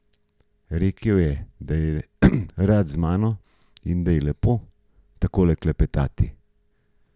Rekel je, da je rad z mano in da je lepo takole klepetati.